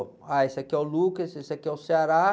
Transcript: Ah, esse aqui é o, esse aqui é o.